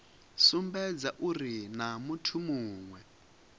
sumbedza uri naa muthu muwe